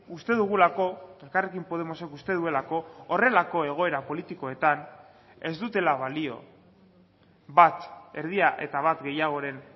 uste dugulako elkarrekin podemosek uste duelako horrelako egoera politikoetan ez dutela balio bat erdia eta bat gehiagoren